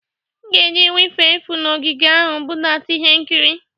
M ga-eji wifi efu na ogige ahụ budata ihe nkiri.